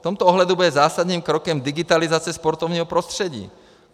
V tomto ohledu bude zásadním krokem digitalizace sportovního prostředí.